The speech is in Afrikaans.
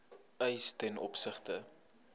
eis ten opsigte